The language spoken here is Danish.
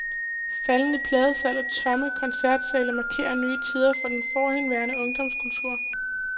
Faldende pladesalg og tomme koncertsale markerer nye tider for den forhenværende ungdomskultur.